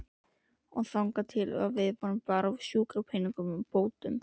Og þangað til lifum við bara á sjúkradagpeningunum og bótunum.